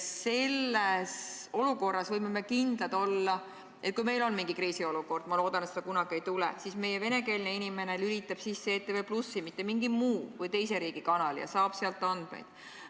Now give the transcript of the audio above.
Selles olukorras võime kindlad olla, et kui meil on mingi kriisiolukord – ma loodan, et seda kunagi ei tule –, siis meie venekeelne inimene lülitab sisse ETV+, mitte mingi teise riigi kanali, ja saab sealt teavet.